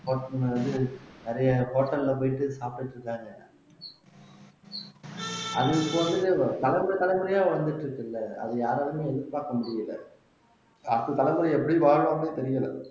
வந்து நிறைய hotel ல போயிட்டு சாப்பிட்டுட்டு இருக்காங்க அது இப்ப வந்து வளர்ந்த தலைமுறையா வந்துட்டு இருக்குல்ல அது யாராலையுமே எதிர்பார்க்க முடியல அடுத்த தலைமுறை எப்படி வாழ்வோம்னே தெரியல